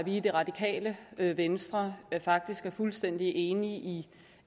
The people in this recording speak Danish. i det radikale venstre faktisk er fuldstændig enige i